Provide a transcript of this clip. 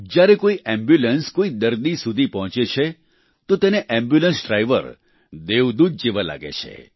જ્યારે કોઈ એમ્બ્યુલન્સ કોઈ દર્દી સુધી પહોંચે છે તો તેને એમ્બ્યુલન્સ ડ્રાઈવર દેવદૂત જેવા જ લાગે છે